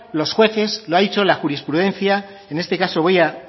los jueces lo ha dicho la jurisprudencia en este caso voy a